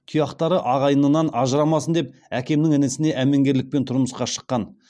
тұяқтары ағайынынан ажырамасын деп әкемнің інісіне әмеңгерлікпен тұрмысқа шыққан